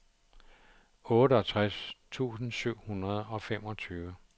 otteogtres tusind syv hundrede og femogtyve